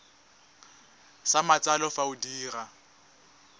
sa matsalo fa o dira